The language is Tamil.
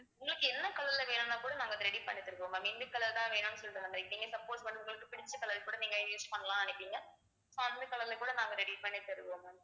உங்களுக்கு என்ன color ல வேணும்னா கூட நாங்க ready பண்ணி தருவோம் ma'am இந்த color தான் வேணும்னு சொல்லிட்டு வந்திருக்கீங்க support உங்களுக்கு பிடிச்ச color கூட நீங்க use பண்ணலாம்ன்னு நினைப்பீங்க அந்த color ல கூட நாங்க ready பண்ணி தருவோம் ma'am